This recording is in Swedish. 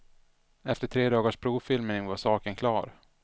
Efter tre dagars provfilmning var saken klar.